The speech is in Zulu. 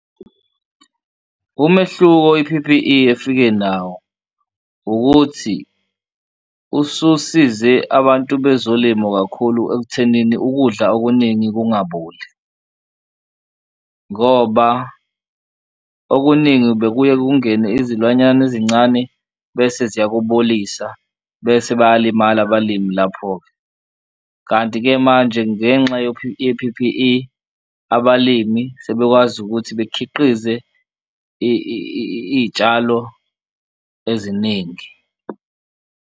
Umehluko i-P_P_E efike nawo ukuthi ususize abantu bezolimo kakhulu ekuthenini ukudla okuningi kungaboli ngoba okuningi bekuye kungene izilwanyana ezincane bese ziyakubolisa bese bayalimala abalimi lapho-ke. Kanti-ke manje ngenxa ye-P_P_E abalimi sekwazi ukuthi bekhiqize iy'tshalo eziningi.